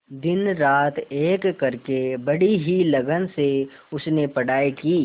दिनरात एक करके बड़ी ही लगन से उसने पढ़ाई की